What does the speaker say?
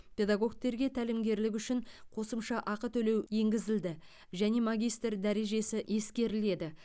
педагогтерге тәлімгерлік үшін қосымша ақы төлеу енгізілді және магистр дәрежесі ескеріледі